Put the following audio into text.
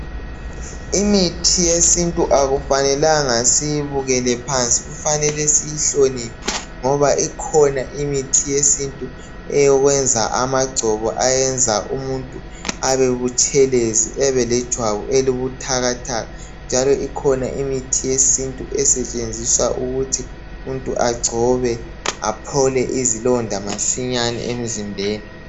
Imithi yesintu akufanelanga siyibukele phansi kufanele siyihloniphe ngoba ikhona imithi yesintu eyokwenza amagcobo ayenza umuntu abe butshelezi ebe lejwabu elibuthakathaka njalo ikhona imithi yesintu esetshenziswa ukuthi umuntu agcobe aphile izlonda masinyane emzimbeni